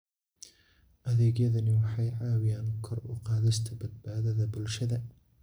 Adeegyadani waxay caawiyaan kor u qaadista badbaadada bulshada.